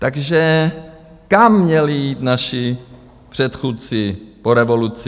Takže kam měli jít naši předchůdci po revoluci?